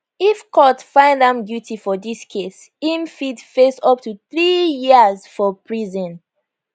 if court find am guilty for dis case im fit face up three years for prison